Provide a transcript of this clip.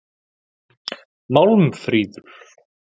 Málmfríður